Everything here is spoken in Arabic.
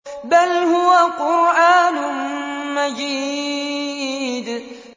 بَلْ هُوَ قُرْآنٌ مَّجِيدٌ